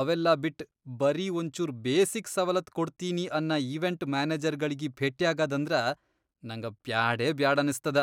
ಅವೆಲ್ಲಾ ಬಿಟ್ ಬರೀ ಒಂಚೂರ್ ಬೇಸಿಕ್ ಸವಲತ್ ಕೊಡ್ತಿನಿ ಅನ್ನ ಇವೆಂಟ್ ಮ್ಯಾನೆಜರ್ಗಳಿಗಿ ಭೆಟ್ಯಾಗದಂದ್ರ ನಂಗ ಬ್ಯಾಡೇಬ್ಯಾಡನಸ್ತದ.